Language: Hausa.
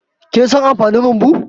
Kin san amfanin rumbu?